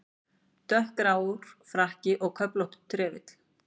Dökkgrár frakki og köflóttur trefill.